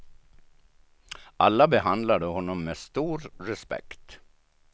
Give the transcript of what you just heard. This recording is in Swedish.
Alla behandlade honom med stor respekt.